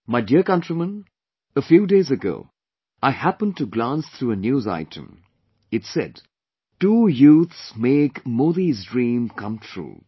My dear countrymen, a few days ago I happened to glance through a news item, it said "Two youths make Modi's dream come true"